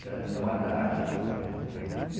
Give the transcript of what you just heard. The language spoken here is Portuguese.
Era minha madrasta.